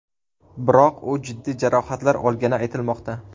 Biroq u jiddiy jarohatlar olgani aytilmoqda.